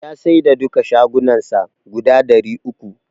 Ya saida duka shagunnan sa guda ɗari uku.